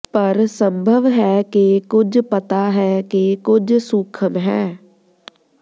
ਪਰ ਸੰਭਵ ਹੈ ਕਿ ਕੁਝ ਪਤਾ ਹੈ ਕਿ ਕੁਝ ਸੂਖਮ ਹੈ